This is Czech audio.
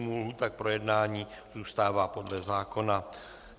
Lhůta k projednání zůstává podle zákona.